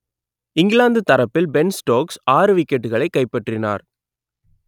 இங்கிலாந்து தரப்பில் Ben Stokes ஆறு விக்கெட்டுகளை கைப்பற்றினார்